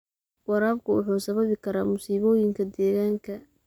Waraabku wuxuu sababi karaa masiibooyinka deegaanka.